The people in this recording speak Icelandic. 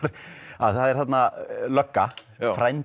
að það er þarna lögga frændi